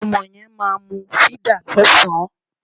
Ọmọ yẹn máa mu fídà lọ́sàn-án